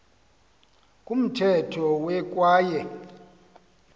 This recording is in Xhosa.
kumthetho we kwaye